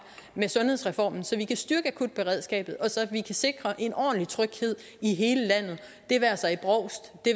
med sundhedsreformen så vi kan styrke akutberedskabet og så vi kan sikre en ordentlig tryghed i hele landet det være sig i brovst det